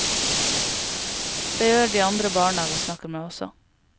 Det gjør de andre barna vi snakker med også.